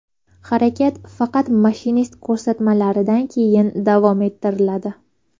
Harakat faqat mashinist ko‘rsatmasidan keyin davom ettiriladi.